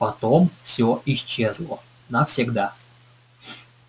потом все исчезло навсегда